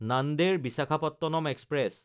Nanded-Visakhapatnam express